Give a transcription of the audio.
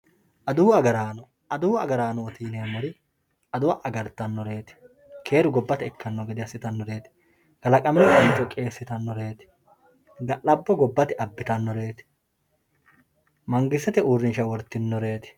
adawu agaraano adawu agaraanooti yineemmori adawa agartannoreeti keeru gobbate ikkanno gede assitannoreeti kalaqamino canco qiissitannoreeti ga'labbo gobbate abbitannoreeti mangistete uurrinsha wortinoreeti.